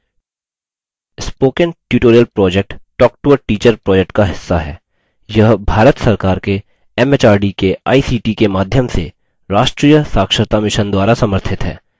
spoken tutorial project talktoateacher project का हिस्सा है यह भारत सरकार के एमएचआरडी के आईसीटी के माध्यम से राष्ट्रीय साक्षरता mission द्वारा समर्थित है